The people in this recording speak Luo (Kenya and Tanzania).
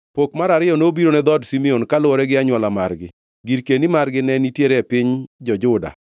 Pok mar ariyo nobiro ne dhood Simeon, kaluwore gi anywola margi. Girkeni margi ne nitiere e piny jo-Juda.